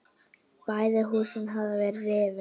Bæði húsin hafa verið rifin.